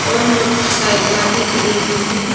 और मोटरसाइकला भी खड़ी हुई है।